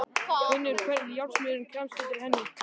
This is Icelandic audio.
Finnur hvernig járnsmiðurinn kremst undir henni.